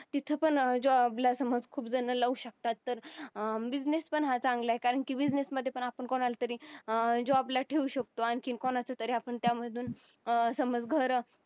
तिथे पण अं job ला समज ज्यांना लावू शकतात तर अं business पण हा चांगला आहे कारण की business मध्ये पण आपण कोणाला तरी अं job ला ठेवू शकतो आणखीन कोणाचं तरी आपण त्यामधून समज घर